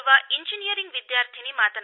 ಓರ್ವ ಇಂಜಿನಿಯರಿಂಗ್ವಿದ್ಯಾರ್ಥಿನಿ